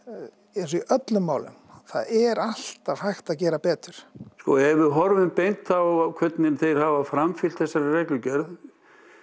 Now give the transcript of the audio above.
eins og í öllum málum er alltaf hægt að gera betur sko ef við horfum beint á hvernig þeir hafa framfylgt þessari reglugerð